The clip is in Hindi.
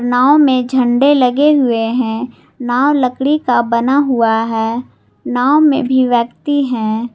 नाव में झंडे लगे हुए है नाव लकड़ी का बना हुआ है नाव मे भी व्यक्ति हैं।